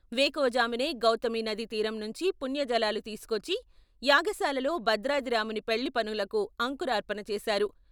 వేకువజామునే గౌతమీనదీ తీరం నుంచి పుణ్యజలాలు తీసుకొచ్చి యాగశాలలో భద్రాద్రి రాముని పెళ్ళి పనులకు అంకురార్పన చేసారు.